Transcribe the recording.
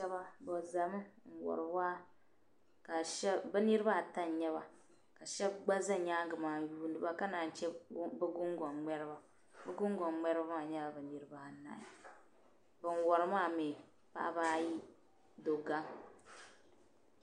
Paɣiba bizɛmi. n wari waa bi niribi ata n nyaba kashab gba za nyaaŋa maa n yiiniba, ka naa n-che bi gun gon mŋeriba bi gun gon mŋeriba maa. nyɛla niriba anahi bin wari maa mi paɣiba ayi dɔ baŋa.